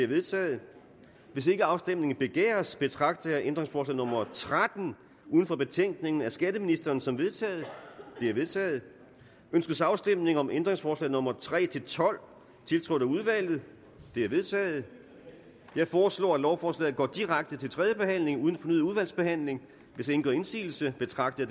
er vedtaget hvis ikke afstemning begæres betragter jeg ændringsforslag nummer tretten uden for betænkningen af skatteministeren som vedtaget det er vedtaget ønskes afstemning om ændringsforslag nummer tre tolv tiltrådt af udvalget de er vedtaget jeg foreslår at lovforslaget går direkte til tredje behandling uden fornyet udvalgsbehandling hvis ingen gør indsigelse betragter